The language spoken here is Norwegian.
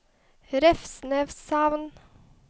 Revsneshamn